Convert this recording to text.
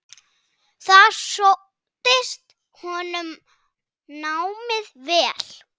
Þar sóttist honum námið vel.